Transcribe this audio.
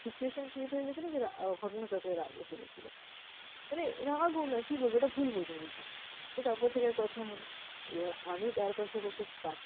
situation create হয়ে গেছিলো যেটা ঘটনাচক্রে রাগ এসে গেছিলো। তবে রাগও না মানে কি বলবো? এটা ভুল বোঝাবুঝি। তো তারপর থেকে আর কথা হয়না। এবার আমি তার পাশে বসে